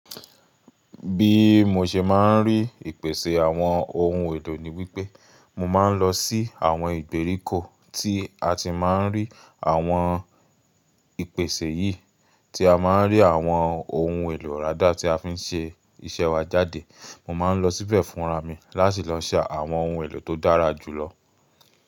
Bí mo ṣe máa ń rí ìpèsè àwọn ohun èlò ni wípé, mo máa ń lọ sí àwọn ìgbèríko tí a ti máa ń rí àwọn ìpèsè yìí, tí a máa ń rí àwọn ohun èlò rá dà tí a fi ń ṣe iṣẹ́ wa jáde. Mo máa ń lọ síbẹ̀ fúnra mi láti lọ ṣa àwọn ohun èlò tó dára jù lọ.